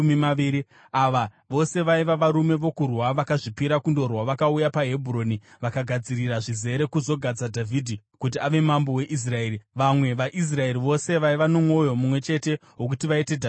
Ava vose vaiva varume vokurwa vakazvipira kundorwa. Vakauya paHebhuroni vakagadzirira zvizere kuzogadza Dhavhidhi kuti ave mambo weIsraeri. Vamwe vaIsraeri vose vaiva nomwoyo mumwe chete wokuti vaite Dhavhidhi mambo.